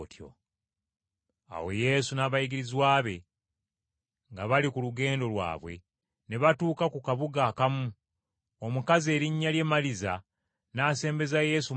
Awo Yesu n’abayigirizwa be nga bali ku lugendo lwabwe, ne batuuka mu kabuga akamu, omukazi erinnya lye Maliza n’asembeza Yesu mu maka ge.